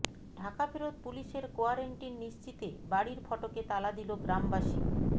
ঢাকাফেরত পুলিশের কোয়ারেন্টিন নিশ্চিতে বাড়ির ফটকে তালা দিল গ্রামবাসী